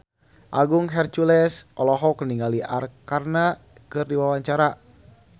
Agung Hercules olohok ningali Arkarna keur diwawancara